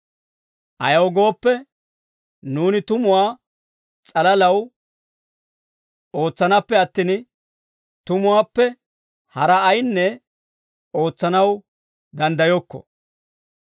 Ayaw gooppe, nuuni tumuwaa s'alalaw ootsanaappe attin, tumuwaappe haraa ayinne ootsanaw danddayokko;